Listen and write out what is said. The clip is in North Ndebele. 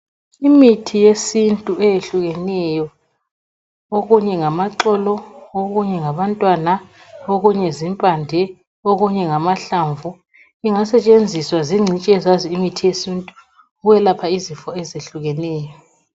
Imithi yesintu eyehlukeneyo. Okunye ngamaxolo okunye ngabantwana , ngokunye zimbande, okunye ngamahlamvu ingasetshenziswa zingcitshi ezazi imithi yesintu ukuyelapha izifo eziyehlukeneyo.